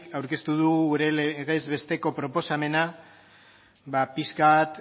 aurkeztu dugu gure legez besteko proposamena pixka bat